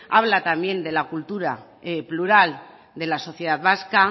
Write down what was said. habla también de la cultura plural de la sociedad vasca